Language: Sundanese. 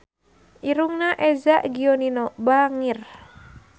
Irungna Eza Gionino bangir